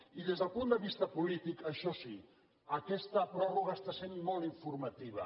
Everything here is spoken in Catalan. i des del punt de vista polític això sí aquesta pròrroga està sent molt informativa